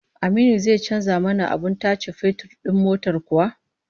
Aminu zai canza mana abin tace fetur din motar kuwa?